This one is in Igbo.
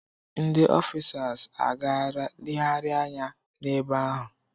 Ndi ọfịsas agaara legharịa anya n'ebe ahụ.